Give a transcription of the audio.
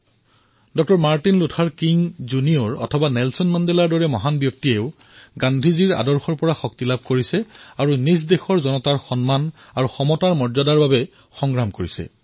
ডঃ Martin Luther কিঙেই হওক অথবা নেলচন মেণ্ডেলাৰ দৰে মহান ব্যক্তি সকলো গান্ধীজীৰ চিন্তাধাৰাৰ দ্বাৰা শক্তি প্ৰাপ্ত কৰিছে আৰু নিজৰ জনতাৰ সমতা আৰু সন্মানৰ অধিকাৰ প্ৰদান কৰাৰ বাবে দীঘলীয়া যুদ্ধত অৱতীৰ্ণ হব পাৰিছে